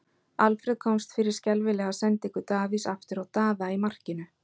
Alfreð komst fyrir skelfilega sendingu Davíðs aftur á Daða í markinu.